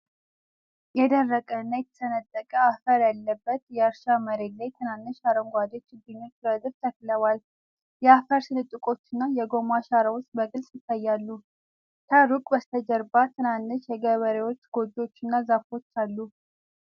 የደረቀና የተሰነጠቀ አፈር ያለበት የእርሻ መሬት ላይ ትናንሽ አረንጓዴ ችግኞች ረድፍ ተክለዋል። የአፈር ስንጥቆችና የጎማ አሻራዎች በግልጽ ይታያሉ። ከሩቅ በስተጀርባ ትናንሽ የገበሬዎች ጎጆዎች እና ዛፎች አሉ።